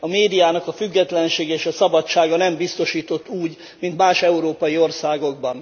A médiának a függetlensége és a szabadsága nem biztosított úgy, mint más európai országokban.